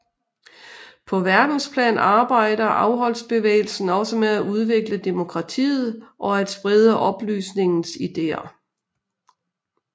På verdensplan arbejder afholdsbevægelsen også med at udvikle demokratiet og at sprede oplysningens ideer